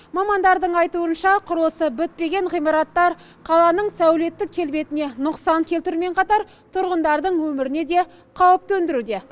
мамандардың айтуынша құрылысы бітпеген ғимараттар қаланың сәулеттік келбетіне нұқсан келтірумен қатар тұрғындардың өміріне де қауіп төндіруде